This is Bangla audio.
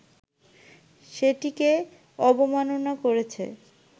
সেটিকে অবমাননা করেছে